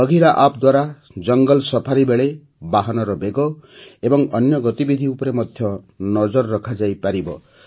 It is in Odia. ବଘିରା ଆପ୍ ଦ୍ୱାରା ଜଙ୍ଗଲ ସଫାରି ବେଳେ ବାହନର ବେଗ ଓ ଅନ୍ୟ ଗତିବିଧି ଉପରେ ନଜର ରଖାଯାଇପାରିବ